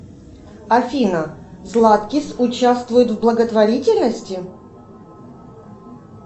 афина златкис участвует в благотворительности